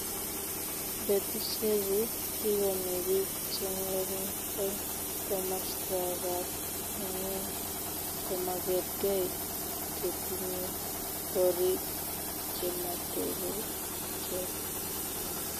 Betusiechu tigomi biik chengering eng komaswekab ingweny chemagergei chetinyei korik chematebechei keny